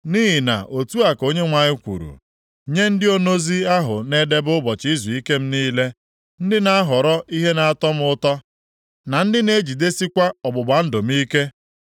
Nʼihi na otu a ka Onyenwe anyị kwuru: “Nye ndị onozi ahụ na-edebe ụbọchị izuike m niile, ndị na-ahọrọ ihe na-atọ m ụtọ, na ndị na-ejidesikwa ọgbụgba ndụ m ike.